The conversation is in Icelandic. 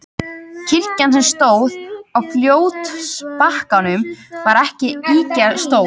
Kirkjan, sem stóð á fljótsbakkanum, var ekki ýkja stór.